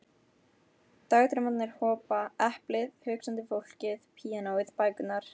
Dagdraumarnir hopa, eplið, hugsandi fólkið, píanóið, bækurnar.